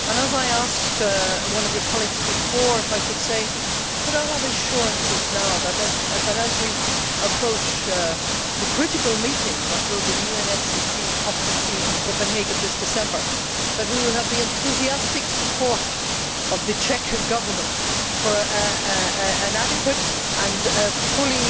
As I asked one of your colleagues before, could I have assurances now, as we approach the critical meeting that will be the UNFCC COP 15 in Copenhagen this December, that we will have the enthusiastic support of the Czech Government for an adequate and fully